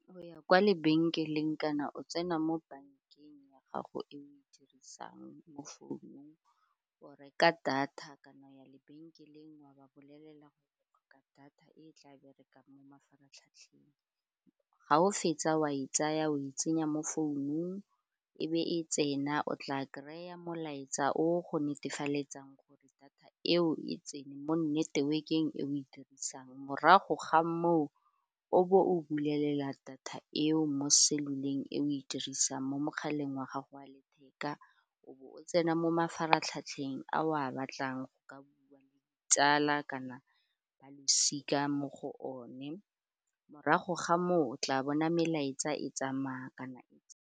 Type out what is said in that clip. Go ya kwa lebenkeleng kana o tsena mo bankeng ya gago e o e dirisang mo founung o reka data kana o ya lebenkeleng wa ba bolelela ka data e tla berekang mo mafaratlhatlheng ga o fetsa wa e tsaya o e tsenya mo founung e be e tsena o tla kry-a molaetsa o go netefaletseng gore data eo e tsene mo network-eng e o e dirisang morago ga moo o bo o bulela data eo mo cellular e o e dirisang mo mogaleng wa gago wa letheka o bo o tsena mo mafaratlhatlheng a o a batlang go ka bua le ditsala kana ba losika mo go one, morago ga moo o tla bona melaetsa e tsamaya kana e tsena.